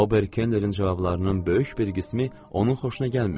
Ober Kennerin cavablarının böyük bir qismi onun xoşuna gəlmirdi.